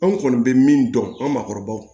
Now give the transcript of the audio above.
Anw kɔni bɛ min dɔn an maakɔrɔbaw